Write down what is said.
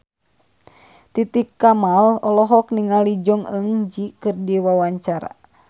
Titi Kamal olohok ningali Jong Eun Ji keur diwawancara